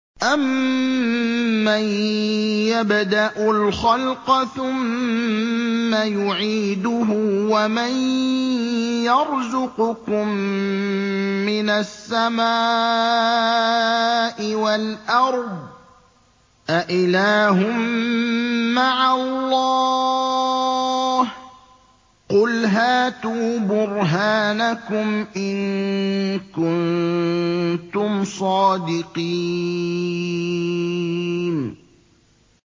أَمَّن يَبْدَأُ الْخَلْقَ ثُمَّ يُعِيدُهُ وَمَن يَرْزُقُكُم مِّنَ السَّمَاءِ وَالْأَرْضِ ۗ أَإِلَٰهٌ مَّعَ اللَّهِ ۚ قُلْ هَاتُوا بُرْهَانَكُمْ إِن كُنتُمْ صَادِقِينَ